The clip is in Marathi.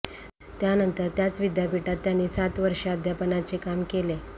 त्यानंतर त्याच विद्यापीठात त्यांनी सात वर्षे अध्यापनाचे काम केले